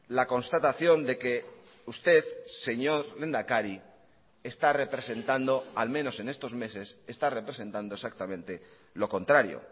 la constatación de que usted señor lehendakari está representando al menos en estos meses está representando exactamente lo contrario